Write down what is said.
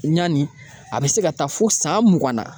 Ɲani a bɛ se ka taa fo san mugan na.